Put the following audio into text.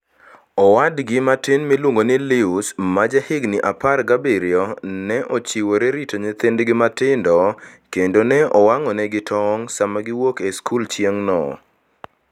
Owadgi matin miluongo ni Luis, ma jahigini 17, ne ochiwore rito nyithindgi matindo, kendo ne owang'onegi tong' sama giwuok e skul chieng'no.